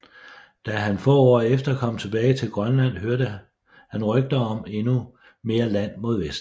Da han få år efter kom tilbage til Grønland hørte han rygter om endnu mere land mod vest